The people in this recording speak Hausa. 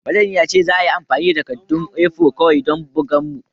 Manajan ya ce a yi amfani da takaddun A4 kawai don bugan mu